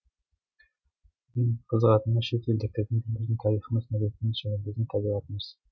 ең қызығатыны шет елдіктердің бұл біздің тарихымыз мәдениетіміз және біздің табиғатымыз